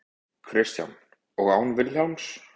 Kristján: Og án Vilhjálms?